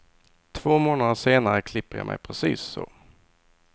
Två månader senare klipper jag mig precis så.